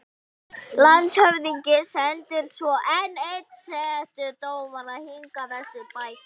Í myndlistinni ert þú mér fremri.